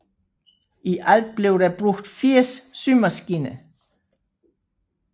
I alt blev der brugt 80 symaskiner